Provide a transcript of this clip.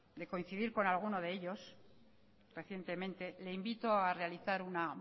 de coincidir con algunos de ellos recientemente le invito a realizar una